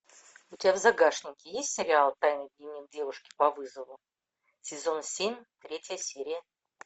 у тебя в загашнике есть сериал тайный дневник девушки по вызову сезон семь третья серия